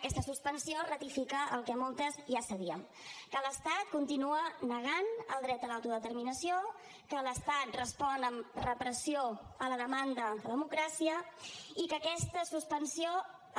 aquesta suspensió ratifica el que moltes ja sabíem que l’estat continua negant el dret a l’autodeterminació que l’estat respon amb repressió a la demanda de democràcia i que aquesta suspensió